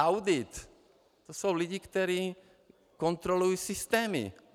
Audit - to jsou lidé, kteří kontrolují systémy.